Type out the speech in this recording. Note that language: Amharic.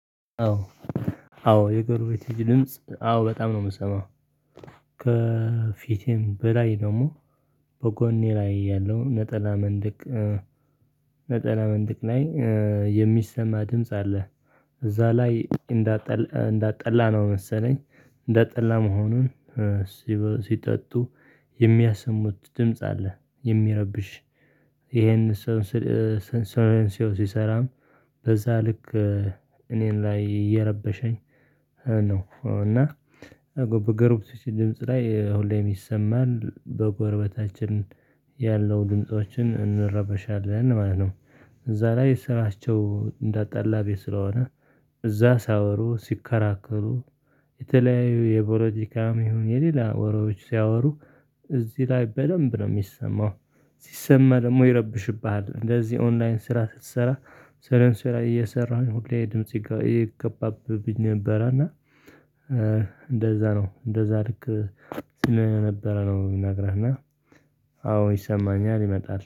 አዎ። አዎ የጎርቤት ድምጽ አዎ በጣም ነው የምሰማው። ከፊቴም በላይ ደግሞ በጎኔ ላይ ያለው ነጠላ መንደቅ። ነጠላ መንደቅ ላይ የሚሰማ ድምጽ አለ። እዛ ላይ እንዳጠላ እንዳጠላ ነው መሰለኝ እንዳጠላ መሆኑን። ሲጠጡ የሚያሰሙት ድምጽ አለ የሚያረብሽ። ይሄንን ሰው ስል ሲሰራም በዛ ልክ እኔን ላይ እየረበሸኝ ነው። እና በጎርብቶች ድምጽ ላይ ሁሌም ይሰማል በጎረበታችን ያለው ድምፆችን እንረበሻለን ማለት ነው። እዛ ላይ ስራቸው እንዳጣላ ቤት ስለሆነ እዛ ሳወሩ ሲከራከሩ የተለያዩ የቦለቲካም ይሁን የሌላ ወሬዎች ሲያወሩ እዚህ ላይ በደንብ ነው የሚሰማው። ሲሰማ ደግሞ ይረብሽብሃል እንደዚህ ኦንላይን ስራ ስትሰራ ስለን ስራ እየሰራሁኝ ሁሌ ድምጽ ይገባብኝ ነበረ። እና እንደዛ ነው እንደዛ ልክ ስለነበረ ነው የምነግርህ። እና አዎ ይሰማኛል ይመጣል